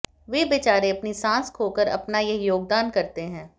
वे बेचारे अपनी सांस खोकर अपना यह योगदान करते हैं